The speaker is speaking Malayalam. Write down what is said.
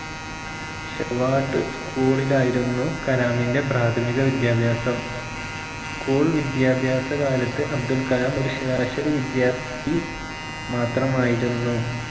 ഷവാട്ട് school ഇലായിരുന്നു കലാമിന്റെ പ്രാഥമിക വിദ്യാഭാസം school വിദ്യാഭാസകാലത്ത് അബ്ദുൾകലാം ഒരു ശരാശരി വിദ്യാർത്ഥി മാത്രമായിരുന്നു